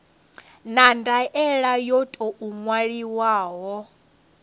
na ndaela yo tou ṅwaliwaho